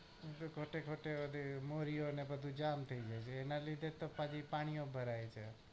એ માંથી ખોટે ખોટે બધું મોરયો ને પાછી જામ થઇ જાય